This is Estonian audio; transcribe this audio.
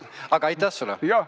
Aga aitäh sulle!